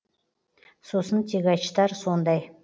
сосын тягачтар сондай